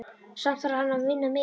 Samt þarf hann að vinna mikið.